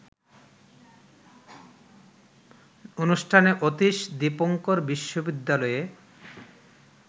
অনুষ্ঠানে অতীশ দীপঙ্কর বিশ্ববিদ্যালয়ে